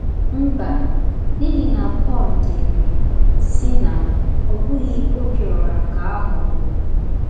Mba, n’ihi na Pọl dere, sị na, ọ bụghị Obiora ka a ghọgburu. ’